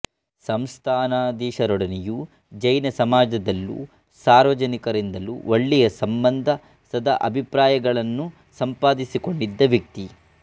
ಸಂಸ್ಥಾನಾಧೀಶರೊಡನೆಯೂ ಜೈನ ಸಮಾಜದಲ್ಲೂ ಸಾರ್ವಜನಿಕರಿಂದಲೂ ಒಳ್ಳೆಯ ಸಂಬಂಧ ಸದಾಭಿಪ್ರಾಯಗಳನ್ನು ಸಂಪಾದಿಸಿಕೊಂಡಿದ್ದ ವ್ಯಕ್ತಿ